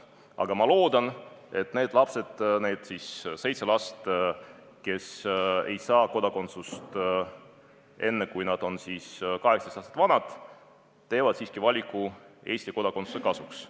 Aga ma loodan, et need lapsed, need seitse last, kes ei saa Eesti kodakondsust enne, kui nad on 18 aastat vanad, teevad siiski valiku Eesti kodakondsuse kasuks.